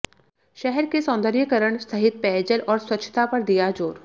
शहर के सौन्दर्यीकरण सहित पेयजल और स्वच्छता पर दिया जोर